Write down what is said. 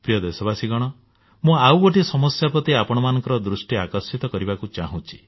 ପ୍ରିୟ ଦେଶବାସୀଗଣ ମୁଁ ଆଉ ଗୋଟିଏ ସମସ୍ୟା ପ୍ରତି ଆପଣମାନଙ୍କ ଦୃଷ୍ଟି ଆକର୍ଷିତ କରିବାକୁ ଚାହୁଁଛି